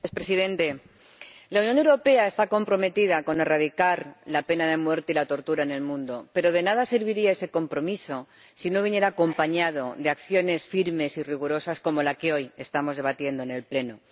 Señor Presidente, la Unión Europea está comprometida con la erradicación de la pena de muerte y la tortura en el mundo, pero de nada serviría ese compromiso si no viniera acompañado de acciones firmes y rigurosas, como la que hoy estamos debatiendo en el Pleno.